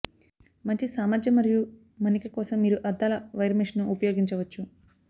మంచి సామర్ధ్యం మరియు మన్నిక కోసం మీరు అద్దాల వైర్ మెష్ను ఉపయోగించవచ్చు